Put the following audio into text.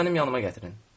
Onu mənim yanımaq gətirin.